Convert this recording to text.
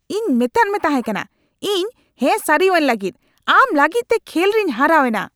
ᱤᱧ ᱢᱮᱛᱟᱫ ᱢᱮ ᱛᱟᱦᱮᱠᱟᱱᱟ ᱤᱧ ᱦᱮᱸ ᱥᱟᱹᱨᱤᱣᱟᱹᱧ ᱞᱟᱹᱜᱤᱫ ! ᱟᱢ ᱞᱟᱹᱜᱤᱫᱛᱮ ᱠᱷᱮᱞ ᱨᱮᱧ ᱦᱟᱨᱟᱣ ᱮᱱᱟ !